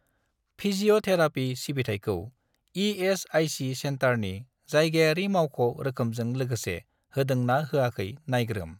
Physiotherapy सिबिथायखौ ESIC. सेन्टारनि जायगायारि मावख' रोखोमजों लोगोसे होदों ना होयाखै नायग्रोम।